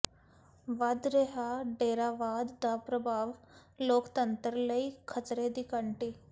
ਵਧ ਰਿਹਾ ਡੇਰਾਵਾਦ ਦਾ ਪ੍ਰਭਾਵ ਲੋਕਤੰਤਰ ਲਈ ਖ਼ਤਰੇ ਦੀ ਘੰਟੀ